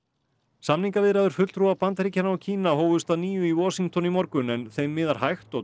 samningaviðræður fulltrúa Bandaríkjanna og Kína hófust að nýju í Washington í morgun en þeim miðar hægt og